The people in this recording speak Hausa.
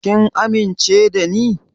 Kin amince da ni?